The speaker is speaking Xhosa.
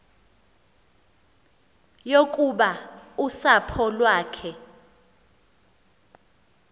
yokuba usapho lwakhe